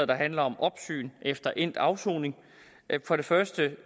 der handler om opsyn efter endt afsoning for det første